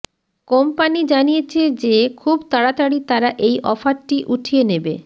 company জানিয়েছে যে খুব তারাতারি তারা এই অফারটি উঠিয়ে নেবে